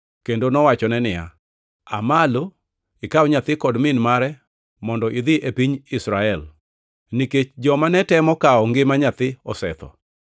kendo nowachone niya, “Aa malo ikaw nyathi kod min mare mondo idhi e piny Israel, nikech joma netemo kawo ngima nyathi osetho.”